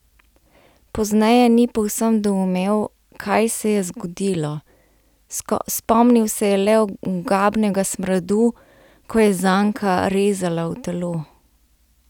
Pozneje ni povsem doumel, kaj se je zgodilo, spomnil se je le ogabnega smradu, ko je zanka rezala v telo.